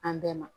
An bɛɛ ma